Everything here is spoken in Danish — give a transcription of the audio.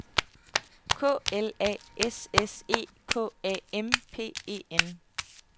K L A S S E K A M P E N